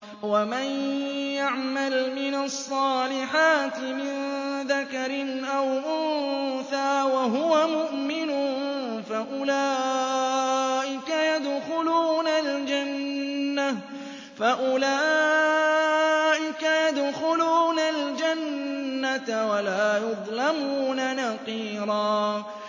وَمَن يَعْمَلْ مِنَ الصَّالِحَاتِ مِن ذَكَرٍ أَوْ أُنثَىٰ وَهُوَ مُؤْمِنٌ فَأُولَٰئِكَ يَدْخُلُونَ الْجَنَّةَ وَلَا يُظْلَمُونَ نَقِيرًا